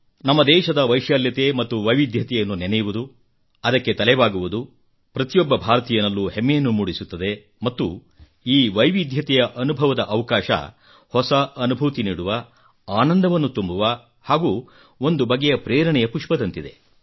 ನಮ್ಮ ದೇಶದ ವೈಶಾಲ್ಯತೆ ಮತ್ತು ವೈವಿಧ್ಯತೆಯನ್ನು ನೆನೆಯುವುದು ಅದಕ್ಕೆ ತಲೆ ಬಾಗುವುದು ಪ್ರತಿಯೊಬ್ಬ ಭಾರತೀಯನಲ್ಲೂ ಹೆಮ್ಮೆಯನ್ನು ಮೂಡಿಸುತ್ತದೆ ಮತ್ತು ಈ ವೈವಿಧ್ಯತೆಯ ಅನುಭವದ ಅವಕಾಶ ಹೊಸ ಅನುಭೂತಿ ನೀಡುವ ಆನಂದವನ್ನು ತುಂಬುವ ಹಾಗೂ ಒಂದು ಬಗೆಯ ಪ್ರೇರಣೆಯ ಪುಷ್ಪದಂತಿದೆ